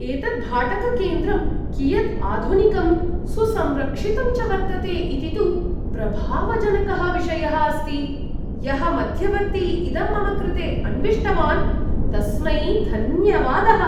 एतत् भाटककेन्द्रं कियत् आधुनिकं सुसंरक्षितं च वर्तते इति तु प्रभावजनकः विषयः अस्ति! यः मध्यवर्ती इदं मम कृते अन्विष्टवान् तस्मै धन्यवादः ।